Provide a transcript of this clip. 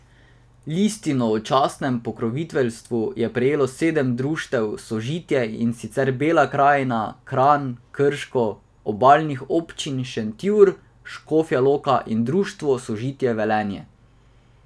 Listino o častnem pokroviteljstvu je prejelo sedem društev Sožitje, in sicer Bela Krajina, Kranj, Krško, Obalnih občin, Šentjur, Škofja Loka in Društvo Sožitje Velenje.